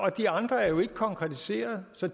og de andre er jo ikke konkretiserede så